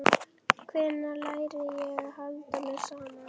Hvenær læri ég að halda mér saman?